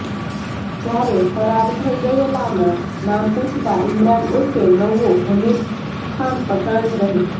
જ્યારે ફરાર થઈ ગયેલાના નામ પુછતા ઈમરાન ઉર્ફે નવ્વો હમીદખાન પઠાણ રહે